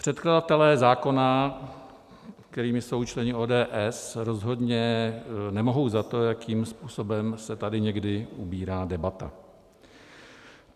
Předkladatelé zákona, kterými jsou členové ODS, rozhodně nemohou za to, jakým způsobem se tady někdy ubírá debata.